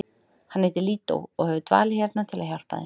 Hann heitir Lídó og hefur dvalið hérna til að hjálpa þeim.